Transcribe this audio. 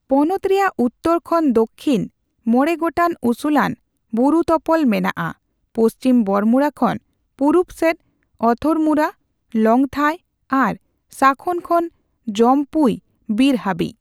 ᱯᱚᱱᱚᱛ ᱨᱮᱭᱟᱜ ᱩᱛᱛᱚᱨ ᱠᱷᱚᱱ ᱫᱩᱠᱷᱤᱱ ᱢᱚᱬᱮ ᱜᱚᱴᱟᱝ ᱩᱥᱩᱞᱟᱱ ᱵᱩᱨᱩᱛᱚᱯᱚᱞ ᱢᱮᱱᱟᱜ ᱟ, ᱯᱩᱪᱷᱤᱢ ᱵᱚᱲᱢᱩᱨᱟ ᱠᱷᱚᱱ ᱯᱩᱨᱩᱵ ᱥᱮᱫ ᱚᱛᱷᱚᱨᱢᱩᱨᱟ, ᱞᱚᱝᱛᱷᱟᱭ ᱟᱨ ᱥᱟᱠᱷᱚᱱ ᱠᱷᱚᱱ ᱡᱢᱯᱩᱭ ᱵᱤᱨ ᱦᱟᱹᱵᱤᱡ ᱾